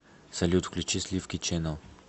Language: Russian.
салют включи сливки чэнел